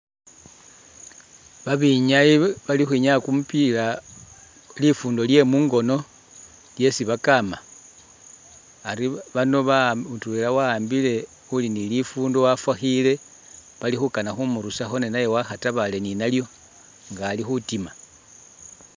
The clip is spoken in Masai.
Ba binyayi bali ukhwinyaya kumupiila lifundo lye mungono lyesi bakama ari bano ba mutwela wa'ambile uli ni lifundo wafakhile bali khukana khu murusakho ne naye wakhatabale ni nalyo nga ali khutima.